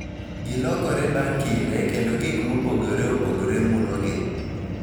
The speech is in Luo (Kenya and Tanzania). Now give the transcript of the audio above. Gilokore bang� kinde, kendo gik mopogore opogore mulogi